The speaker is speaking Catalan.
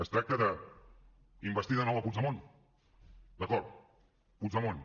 es tracta d’investir de nou puigdemont d’acord puigdemont